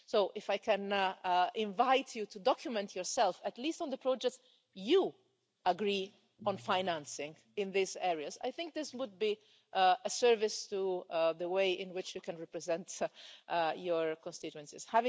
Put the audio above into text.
So if I can invite you to document yourself, at least on the projects you agree on financing in these areas, I think this would be a service to the way in which you can represent your constituencies.